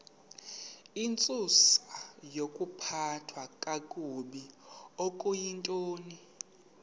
intsusayokuphathwa kakabi okuyintoni